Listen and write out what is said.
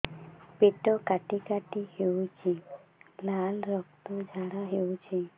ପେଟ କାଟି କାଟି ହେଉଛି ଲାଳ ରକ୍ତ ଝାଡା ହେଉଛି